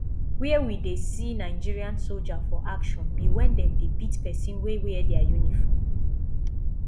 where we dey see nigerian soldier for action be when dem dey beat person wey wear dia uniform